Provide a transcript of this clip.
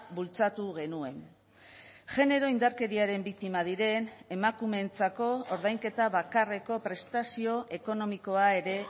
bultzatu genuen genero indarkeriaren biktima diren emakumeentzako ordainketa bakarreko prestazio ekonomikoa ere